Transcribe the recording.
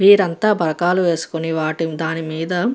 వీరంతా బరకాలు వేసుకొని వాటిని దాని మీద --